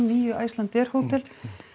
níu Icelandair hótel